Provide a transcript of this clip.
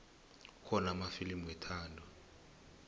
kukhona amafilimu wethando